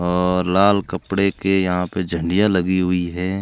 और लाल कपड़े के यहां पे झंडिया लगी हुई हैं।